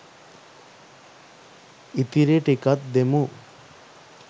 ඉතිරි ටිකත් දෙමු